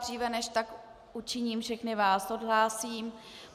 Dříve než tak učiním, všechny vás odhlásím.